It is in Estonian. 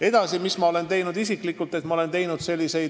Edasi, mis ma olen isiklikult teinud?